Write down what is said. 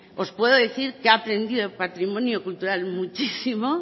os puedo decir que he aprendido de patrimonio cultural muchísimo